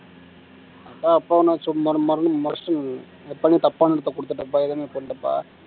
அப்பான்னா சும்மா மறுபடியும் தப்பான இடத்தை கொடுத்துட்டப்பா எதுவுமே பண்ணலப்பா